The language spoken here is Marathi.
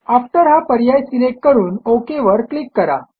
आफ्टर हा पर्याय सिलेक्ट करून ओक वर क्लिक करा